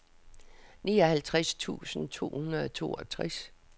nioghalvtreds tusind to hundrede og toogtres